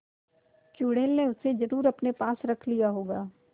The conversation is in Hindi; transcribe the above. चुड़ैल ने उसे जरुर अपने पास रख लिया होगा